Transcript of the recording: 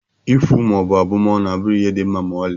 Ikwu maọbụ abụmọnụ abụghị ihe dị mma ma ọlị